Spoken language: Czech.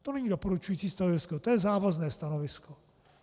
To není doporučující stanovisko, to je závazné stanovisko.